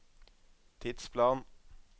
tidsplan